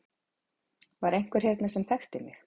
Var einhver hérna sem þekkti mig?